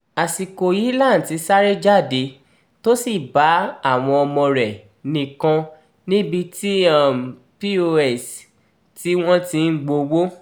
àsìkò yìí lanti sáré jáde tó sì bá àwọn ọmọ rẹ̀ nìkan níbi ti um pos tí wọ́n ti ń gbowó